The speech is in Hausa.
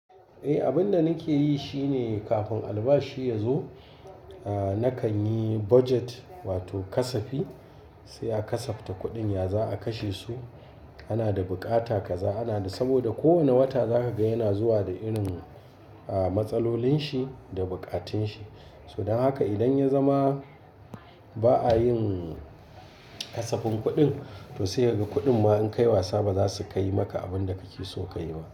Eh, abin da nake yi shi ne kafin albashi ya zo, ahhh nakan yi budget wato kasafi. Sai a kasafta kuɗin ya za a kashe su. Ana da bukata kaza, ana da-- saboda kowane wata zaka ga yana zuwa da irin ahhh matsalolin shi da bukatun shi. Don haka idan ya zama ba a yin kasafin kuɗin, to sai ga kuɗin ma in kai wasa ba za su kai maka abin da kake so ka yi ba.